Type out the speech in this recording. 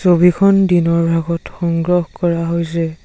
ছবিখন দিনৰ ভাগত সংগ্ৰহ কৰা হৈছে।